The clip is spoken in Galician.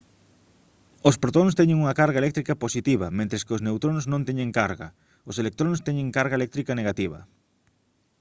os protóns teñen unha carga eléctrica positiva mentres que os neutróns non teñen carga os electróns teñen carga eléctrica negativa